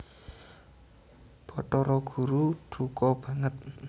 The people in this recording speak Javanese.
Bathara Guru duka banget